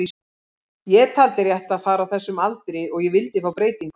Ég taldi rétt að fara á þessum aldri og ég vildi fá breytingu.